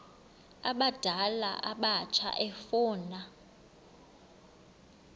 abadala abatsha efuna